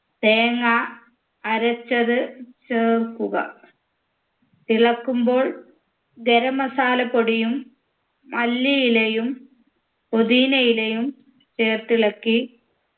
തേങ്ങ അരച്ചത് ചേർക്കുക തിളക്കുമ്പോൾ ഗരം masala പൊടിയും മല്ലിയിലയും പൊതീനയിലയും ചേർത്തിളക്കി